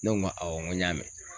Ne ko n ko awɔ n ko n y'a mɛn.